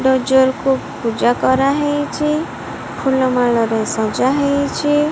Dozer କୁ ପୂଜା କରାହେଇଚି ଫୁଲ ମାଳ ରେ ସଜା ହେଇଚି।